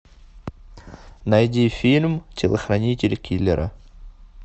найди фильм телохранитель киллера